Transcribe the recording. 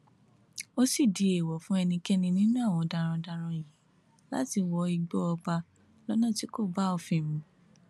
ó sì di èèwọ fún ẹnikẹni nínú àwọn darandaran yìí láti wọ igbó ọba lọnà tí kò bá òfin mu